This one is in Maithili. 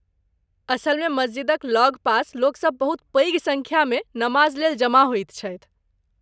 असलमे, मस्जिदक लगपास लोकसभ बहुत पैघ सङ्ख्यामे नमाजलेल जमा होइत छथि।